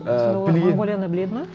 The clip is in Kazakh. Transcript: ііі сонда олар монғолияны біледі ме